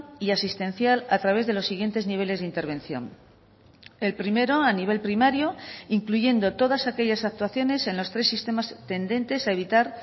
y asistencial a través de los siguientes niveles de intervención el primero a nivel primario incluyendo todas aquellas actuaciones en los tres sistemas tendentes a evitar